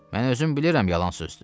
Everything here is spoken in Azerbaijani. Mən özüm bilirəm yalan sözdür.